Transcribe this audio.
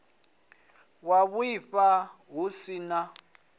wa vhuaifa hu si na